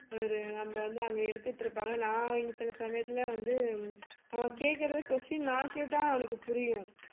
ஒரு நம்ம வந்து அங்கே எடுத்துட்டு இருப்பாங்க நான் இங்கே சில சமயத்திலே வந்து அவன் கேக்குறது question நான் கேட்டா அவனுக்கு புரியும்